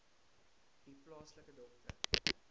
u plaaslike dokter